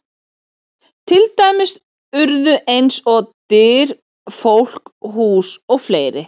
Til dæmis orð eins og: Dyr, fólk, hús og fleiri?